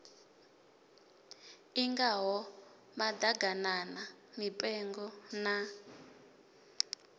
i ngaho maḓaganana mipengo na